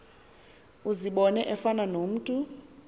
uzibone efana nomntu